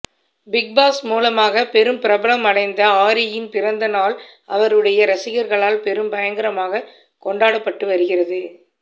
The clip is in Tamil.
பிக்பாஸ் மூலமாக பெரும் பிரபலம் அடைந்த ஆரியின் பிறந்த நாள் அவருடைய ரசிகர்களால் பெரும் பயங்கரமாக கொண்டாடப்பட்டு வருகிறது